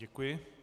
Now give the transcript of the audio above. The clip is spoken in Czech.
Děkuji.